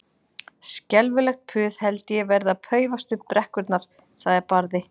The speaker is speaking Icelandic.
Skelfilegt puð held ég verði að paufast upp brekkurnar, sagði Barði.